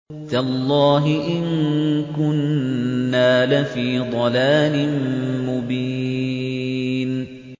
تَاللَّهِ إِن كُنَّا لَفِي ضَلَالٍ مُّبِينٍ